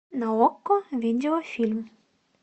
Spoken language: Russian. на окко видео фильм